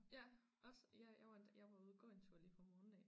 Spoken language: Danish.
Ja også ja jeg var jeg var ude at gå en tur lige fra morgenen af